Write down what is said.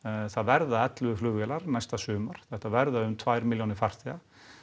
það verða ellefu flugvélar næsta sumar þetta verða um tvær milljónir farþega